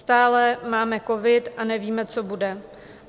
Stále máme covid a nevíme, co bude.